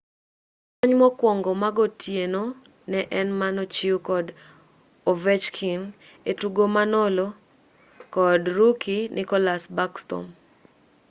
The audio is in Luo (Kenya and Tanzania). kony mokwongo magotieno ne en manochiw kod ovechkin e tugo manolo kod rookie nicholas backstrom